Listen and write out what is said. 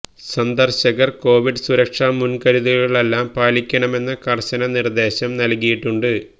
സന്ദര്ശകര് Covid സുരക്ഷാ മുന്കരുതലുകളെല്ലാം പാലിക്കണമെന്ന കര്ശന നിര്ദേശം നല്കിയിട്ടുണ്ട്